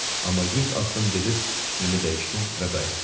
Amma 100 addım gedib fikrimi dəyişdim və qayıtdım.